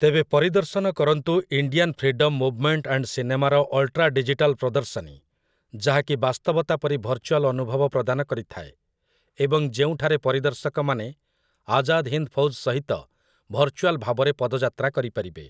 ତେବେ ପରିଦର୍ଶନ କରନ୍ତୁ 'ଇଣ୍ଡିଆନ୍ ଫ୍ରିଡମ୍ ମୁଭମେଣ୍ଟ ଆଣ୍ଡ ସିନେମା'ର ଅଲ୍‌ଟ୍ରା ଡିଜିଟାଲ୍ ପ୍ରଦର୍ଶନୀ, ଯାହାକି ବାସ୍ତବତା ପରି ଭର୍ଚୁଆଲ୍ ଅନୁଭବ ପ୍ରଦାନ କରିଥାଏ, ଏବଂ ଯେଉଁଠାରେ ପରିଦର୍ଶକମାନେ ଆଜାଦ୍ ହିନ୍ଦ ଫୌଜ୍ ସହିତ ଭର୍ଚୁଆଲ୍ ଭାବରେ ପଦଯାତ୍ରା କରିପାରିବେ ।